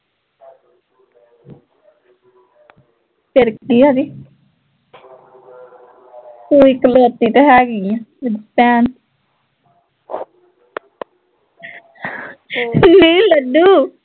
ਫਿਰ ਕੀ ਆ ਜੇ ਤੂੰ ਇਕਲੋਤੀ ਤਾਂ ਹੈਗੀ ਏ, ਮੇਰੀ ਭੈਣ ਨੀ ਲੱਡੂ